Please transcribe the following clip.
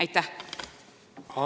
Aitäh!